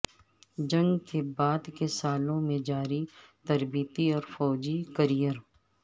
جنگ کے بعد کے سالوں میں جاری تربیتی اور فوجی کیریئر